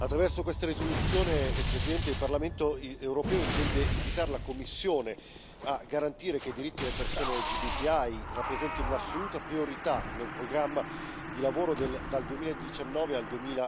Attraverso questa risoluzione, Presidente, il Parlamento europeo intende invitare la Commissione a garantire che i diritti delle persone LGBTI rappresentino un'assoluta priorità nel programma di lavoro dal 2019 al